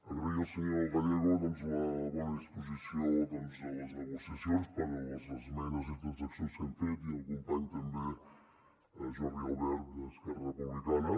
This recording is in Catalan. agrair al senyor gallego la bona disposició de les negociacions per a les esmenes i transaccions que hem fet i al company també jordi albert d’esquerra republicana